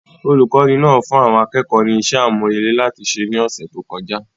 Olùkọ́ni náà fún àwọn akẹ́kọ̀ọ́ ní iṣẹ́ àmúrelé láti ṣe ní ọ̀sẹ̀ tó kọjá